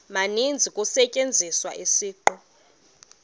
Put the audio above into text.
maninzi kusetyenziswa isiqu